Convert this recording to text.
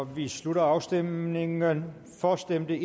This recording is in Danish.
vi slutter afstemningen for stemte